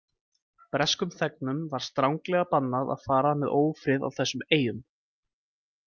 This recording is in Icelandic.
Breskum þegnum var stranglega bannað að fara með ófrið á þessum eyjum.